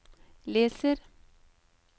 leser